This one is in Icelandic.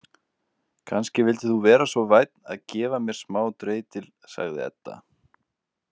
Kannski vildir þú vera svo vænn að gefa mér smá dreitil, sagði Edda.